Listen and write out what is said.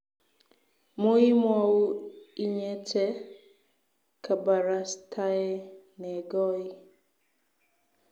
muimwou inyete kabarastae negooi.